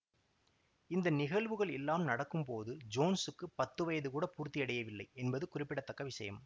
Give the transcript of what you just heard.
இந்த நிகழ்வுகள் எல்லாம் நடக்கும்போது ஜோன்ஸுக்கு பத்து வயது கூட பூர்த்தியடையவில்லை என்பது குறிப்பிடத்தக்க விஷயம்